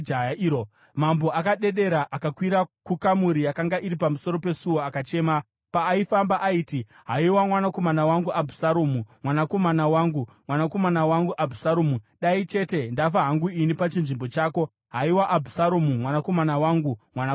Mambo akadedera. Akakwira kukamuri yakanga iri pamusoro pesuo akachema. Paaifamba aiti, “Haiwa mwanakomana wangu Abhusaromu! Mwanakomana wangu, mwanakomana wangu Abhusaromu! Dai chete ndafa hangu ini pachinzvimbo chako! Haiwa Abhusaromu, mwanakomana wangu, mwanakomana wangu!”